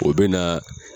O bɛ na